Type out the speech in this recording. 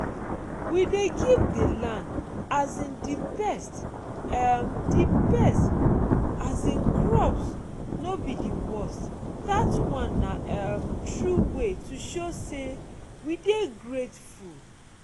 we dey give di land um di best um di best um crops no be di worst—that one na um true way to show say we dey grateful.